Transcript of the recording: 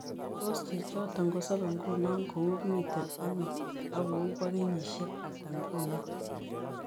Tos' chictoton kosobe nguno ko uu miten ano ak ko uu bo kenyiisyek ata nguno